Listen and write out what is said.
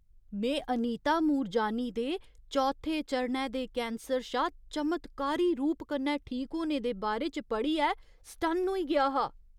में अनीता मूरजानी दे चौथे चरणै दे कैंसर शा चमत्कारी रूप कन्नै ठीक होने दे बारे च पढ़ियै सटन्न होई गेआ हा।